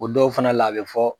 O dɔw fana la a bɛ fɔ.